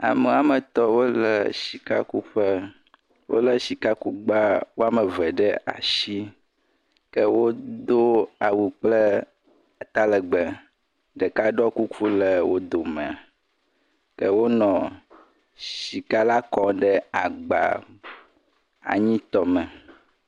Ame woame etɔ̃ wole sika kuƒe wole sika kugbawoame eve ɖe asi ke wodo awu kple ata legbee, ɖeka ɖɔ kuku le wo fdome, ɖewo le sika la kum ɖe agba anyitɔ me.